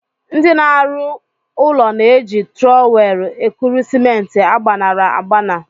Ndị na-arụ ụlọ na-eji trọwel ekuru simenti agbaṅara agbaṅa.